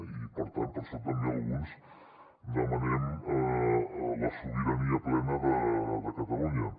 i per tant per això també alguns demanem la sobirania plena de catalunya